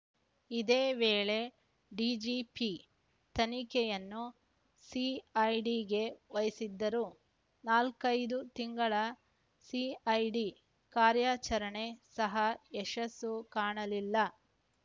ಇದೇ ವೇಳೆ ಡಿಜಿಪಿ ತನಿಖೆಯನ್ನು ಸಿಐಡಿಗೆ ವಹಿಸಿದ್ದರು ನಾಲ್ಕೈದು ತಿಂಗಳ ಸಿಐಡಿ ಕಾರ್ಯಾಚರಣೆ ಸಹ ಯಶಸ್ಸು ಕಾಣಲಿಲ್ಲ